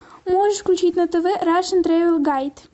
можешь включить на тв рашн трэвел гайд